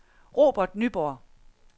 Robert Nyborg